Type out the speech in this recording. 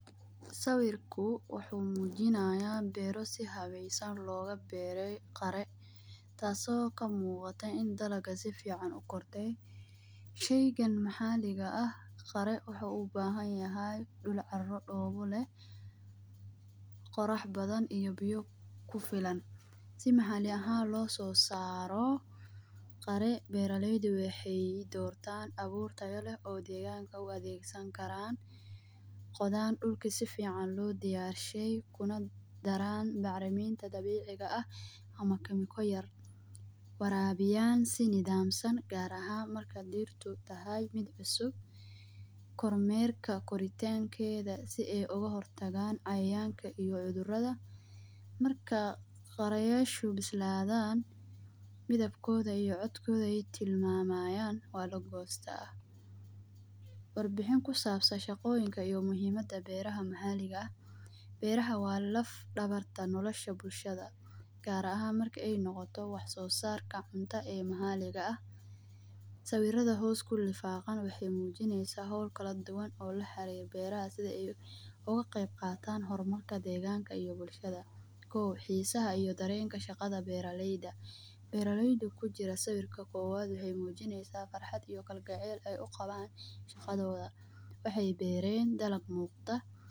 Sawirku wuxu mujinaya beero si haweysan loga beere qaaro taaso kamuqato in dalaga safican ukorcay. Shaygan maxaliga aah qaaro wuxu ubahanyahay duul caaro doqa leeh qoraax badhan iyo biyo kufilan. Si maxali ahan lososaro qaaro beralyda waxay udortaan abuur tayo leeh oo deganka u daegsani karan, qodhaan dulka safican loo diyashiyay daran bacraminta dabiciga aah ama kemikalya yaar, warabiyaan si nadhamasan gaar ahaan marka deerta tahay mid cusub, kormerka koritankedha si ay uga hortagan cayayanka iyo cudhuradha. Marka qarayasha bisladhan midhabkodha iyo codkodha ay tilmamayan waa lagosta. Warbaxin kusabsan shaqoyin iyo muhiimada beeraha maxaliga aah. Beeraha waa laaf dawarta noolashada bulshada gaar ahaan marki ay noqoto wax so saarka cunta ee maxaliga ah. Sawiradha hoos kulifaqan waxay mujinaysa hawl kaladuwan oo laxarir beeraha oo sidhi ay uqaqeyb qatan hormarka deeganka iyo bulshada. Kow xiisaha iyo dareenka shaqadha beera layda. Beera layda kujira sawirka kowaad waxay mujinaysa farxaad iyo galgaceel ay uqawan shaqadhodha waxay beeren dalag muqda.